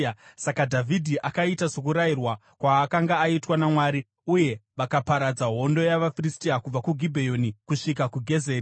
Saka Dhavhidhi akaita sokurayirwa kwaakanga aitwa naMwari, uye vakaparadza hondo yavaFiristia, kubva kuGibheoni, kusvika kuGezeri.